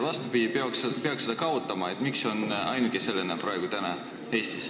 Miks on see praegu ainuke selline ametikoht Eestis, mille täidab Riigikogu?